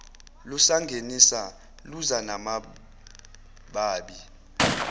lusangenisa luza namabibi